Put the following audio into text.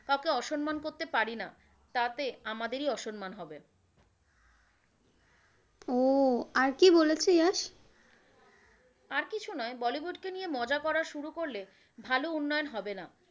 কাউকে অসম্মান করতে পারিনা তাতে আমাদেরই অসম্মান হবে। ও আর কি বলেছে যশ? আর কিছু নয় বলিউড কে নিয়ে মজা করা শুরু করলে ভালো উন্নয়ন হবে না।